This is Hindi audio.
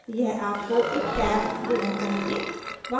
यह आपको एक टैब देना चाहिए